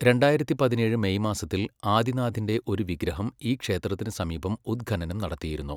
രണ്ടായിരത്തി പതിനേഴ് മെയ് മാസത്തിൽ ആദിനാഥിന്റെ ഒരു വിഗ്രഹം ഈ ക്ഷേത്രത്തിന് സമീപം ഉത്ഖനനം നടത്തിയിരുന്നു.